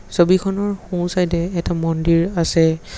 ছবিখনৰ সোঁচাইডে এটা মন্দিৰ আছে।